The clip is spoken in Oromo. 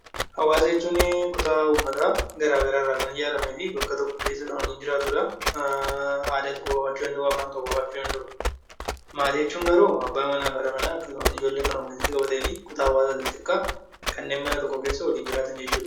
Hawaasa jechuun kutaa uummataa garaagaraa irraa kan ijaaramee fi bakka tokko keessa kan waliin jiraatudha. Aadaa tokko qabaachuu danda'uu, afaan tokko qabaachuu danda'u. Maatii jechuun garuu abbaa manaa, haadha manaa akkasumas ijoollee kan of jalatti qabatee fi kutaa hawaasaa isa xiqqaa kanneen mana tokko keessa waliin jiraatan jechuudha.